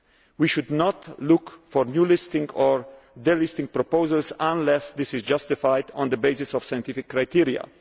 We should not look for new listings or delisting proposals unless this is justified on the basis of scientific criteria.